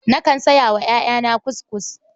Nakan saya wa ƴaƴana kuskus.